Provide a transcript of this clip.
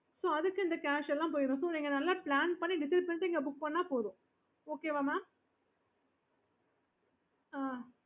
அப்புறம் அதுக்கு இந்த cash எல்லாம் போய்டும் நீங்க நல்ல plan பண்ணி decide பண்ணிட்டு இங்க booking பண்ணா போதும் okay mam ஆஹ்